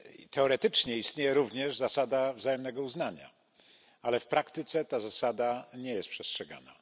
Teoretycznie istnieje również zasada wzajemnego uznania, ale w praktyce ta zasada nie jest przestrzegana.